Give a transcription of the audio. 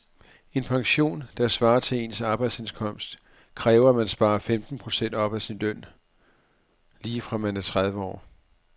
En pension, der svarer til ens arbejdsindkomst, kræver at man sparer femten procent af sin løn op lige fra man er tredive år.